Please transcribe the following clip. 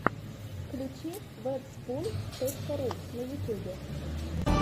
включи вэбспун точка ру на ютьюбе